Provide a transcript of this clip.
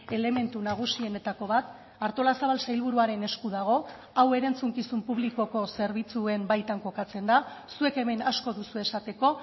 elementu nagusienetako bat artolazabal sailburuaren esku dago hau erantzukizun publikoko zerbitzuen baitan kokatzen da zuek hemen asko duzue esateko